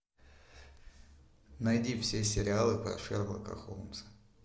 найди все сериалы про шерлока холмса